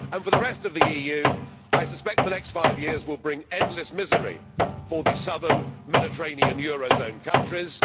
ever. As for the rest of the EU, I suspect the next five years will bring endless misery for the southern Mediterranean eurozone countries.